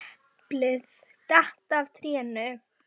Gallerís Borgar á gjöldum til sjóðsins væru ekki viðunandi.